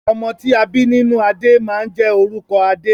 Ọmọ ti a bi nínú adé máa n jẹ orúkọ adé.